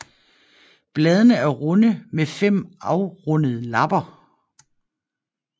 Bladene er runde med fem afrundede lapper